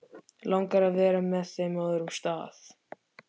Langar að vera með þeim á öðrum stað.